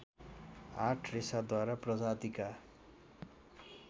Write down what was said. आठ रेसादार प्रजातिका